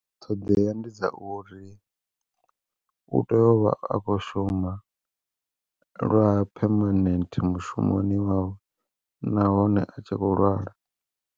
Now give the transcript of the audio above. Ṱhoḓea ndi dza uri u tea uvha a kho shuma, lwa phemanthe mushumoni wawe nahone a tshi kho lwala.